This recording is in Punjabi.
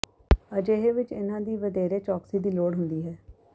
ਅਜਿਹੇ ਵਿਚ ਇਨ੍ਹਾਂ ਦੀ ਵਧੇਰੇ ਚੌਕਸੀ ਦੀ ਲੋੜ ਹੁੰਦੀ ਹੈ